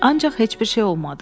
Ancaq heç bir şey olmadı.